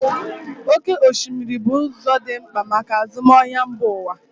Oké osimiri bụ ụzọ dị mkpa maka azụmahịa mba ụwa.